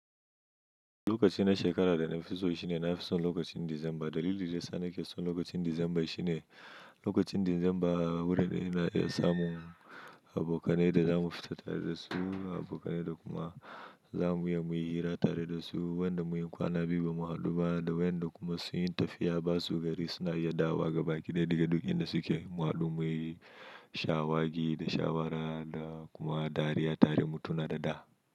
Lokacin na shekara da na fi so shi ne na fi son lokacin Disamba. Dalilin da ya sa na ke son lokacin Disamba shine. Lokacin Disamba wurin ina iya samun abokanai da za mu fita tare da su, abokanai da kuma. Za mu iyi muyi hira tare da su, waƴanda mun yi kwana biyu ba mu haɗu da waƴanda kuma sun yi tafiya basu gari suna iya dawo ga baki ɗaya daga duk inda suke. Mu haɗu muyi shawagi da shawara da kuma dariya tare mu tuna da da.